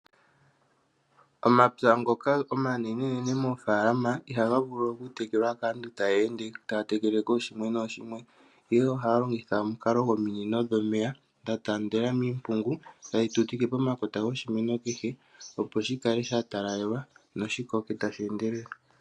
Omapya ngoka omanenene moofalama ihaga vulu okutekelwa kaantu ta yeende taa tekele kooshimwe nooshimwe ashike ohaya longitha omukalo gominino dhomeya dha taandela miimpungu tadhi tekele pomakota goshimeno ethimbo kehe opo shi kale sha talalelwa noshikoke tashi endelele.